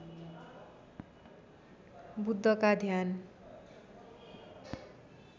बुद्ध का ध्यान